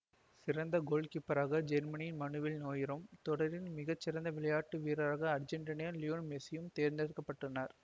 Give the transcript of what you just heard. சிறந்த கோல் காப்பளராக ஜெருமனியின் மனுவேல் நோயரும் தொடரின் மிகச்சிறந்த விளையாட்டு வீரராக அர்ச்செண்டினாவின் லியோனல் மெசியும் தேர்ந்தெடுக்க பட்டனர்